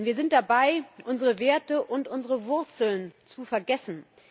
Wir sind dabei, unsere Werte und unsere Wurzeln zu vergessen.